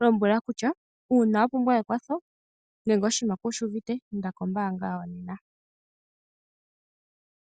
lombwela kutya uuna wa pumbwa ekwatho nenge oshinima ku shi uvite inda kombaanga yawo nena.